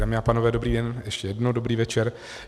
Dámy a pánové, dobrý den, ještě jednou dobrý večer.